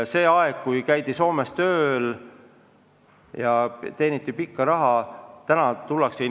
See aeg, kui käidi Soomes tööl ja teeniti pikka raha, hakkab läbi saama.